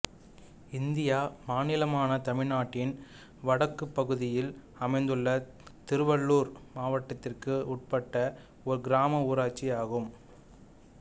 இந்திய மாநிலமான தமிழ்நாட்டின் வடக்குப் பகுதியில் அமைந்துள்ள திருவள்ளூர் மாவட்டதிற்கு உட்பட்ட ஓர் கிராம ஊராட்சி ஆகும்